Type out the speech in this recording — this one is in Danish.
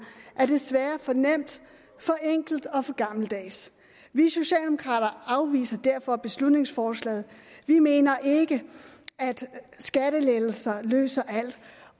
er desværre for nemt for enkelt og for gammeldags vi socialdemokrater afviser derfor beslutningsforslaget vi mener ikke at skattelettelser løser alt